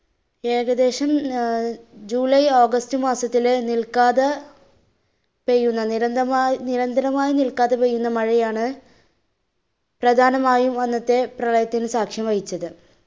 ഏകദേശം അഹ് july, august മാസത്തിൽ നിൽക്കാതെ പെയ്യുന്ന നിരന്തമായി~ നിരന്തരമായി നിൽക്കാതെ പെയ്യുന്ന മഴയാണ്, പ്രധാനമായി അന്നത്തെ പ്രളയത്തിന് സാക്ഷ്യം വഹിച്ചത്.